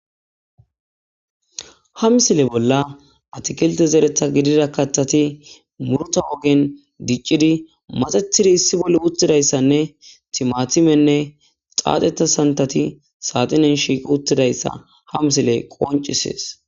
Haa missile bolla atakiltte zeereththa gidida kaththatti muruta ogenni dicciddi maxettid issi bolla uttidayisanne timatimenne xaxettida saniththatti saxineni shiqqi uttidayissa haa missileyi qonccisses.